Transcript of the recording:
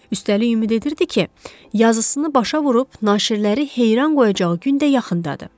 Üstəlik ümid edirdi ki, yazısını başa vurub naşirləri heyran qoyacağı gün də yaxındadır.